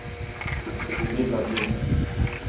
imidlertid